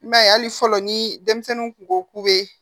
I b'a ye hali fɔlɔ ni denmisɛnninw kun ko k'u be